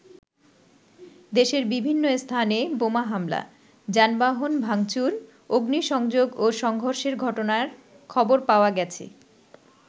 দেশের বিভিন্ন স্থানে বোমা হামলা, যানবাহণ ভাংচুর, অগ্নিসংযোগ ও সংঘর্ষের ঘটনার খবর পাওয়া গেছে।